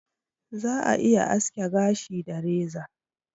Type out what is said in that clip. Za'a iya aske gashi da reza.